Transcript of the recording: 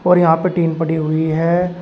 और यहां पे टीन पड़ी हुई है।